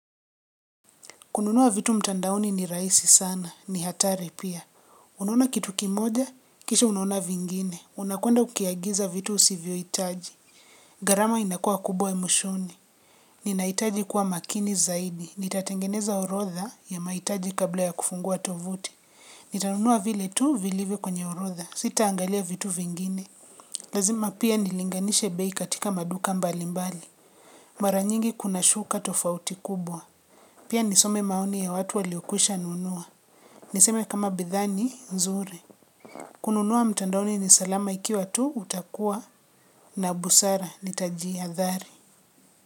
Kununua vitu mtandaoni ni rahisi sana, ni hatari pia. Unaona kitu kimoja, kisha unaona vingine. Unakwenda ukiagiza vitu usivyo hitaji. Garama inakua kubwa mwishoni. Ninahitaji kuwa makini zaidi. Nitatengeneza orodha ya mahitaji kabla ya kufungua tovuti. Nitanunua vile tuu vilivyo kwenye orodha. Sita angalia vitu vingine. Lazima pia nilinganishe bei katika maduka mbali mbali. Maranyingi kuna shuka tofauti kubwa. Pia nisome maoni ya watu waliokwisha nunua. Niseme kama bidhaani, nzuri. Kununua mtandaoni ni salama ikiwa tu, utakua. Na busara, nitaji ha dhari.